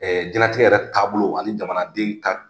Jɛnlatigɛ yɛrɛ taa bolo ani jamanaden ka